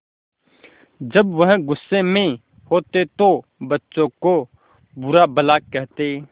जब वह गुस्से में होते तो बच्चों को बुरा भला कहते